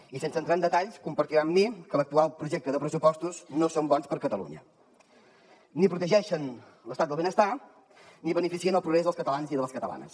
i sense entrar en detalls deu compartir amb mi que l’actual projecte de pressupostos no és bo per a catalunya ni protegeix l’estat del benestar ni beneficia el progrés dels catalans i de les catalanes